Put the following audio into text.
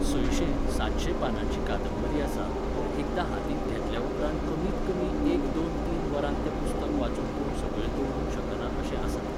सयशे, सातशे पानांची कादंबरी आसा, पूण एकदां हातींत घेतल्या उपरांत कमीत कमी एक दोन तीन वरांत तें पुस्तक वाचून कोण सकयल दवरूंक शकना अशें आसा तें.